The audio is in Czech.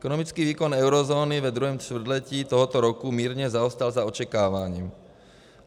Ekonomický výkon eurozóny ve druhém čtvrtletí tohoto roku mírně zaostal za očekáváním.